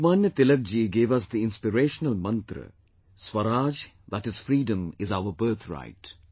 Lokmanya Tilak ji gave us the inspirational mantra "Swaraj, that is, freedom is our birthright